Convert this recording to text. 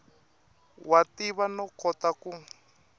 wa tiva no kota ku